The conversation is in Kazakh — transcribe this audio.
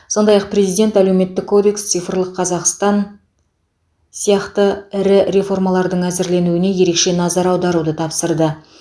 сондай ақ президент әлеуметтік кодекс цифрлық қазақстан сияқты ірі реформалардың әзірленуіне ерекше назар аударуды тапсырды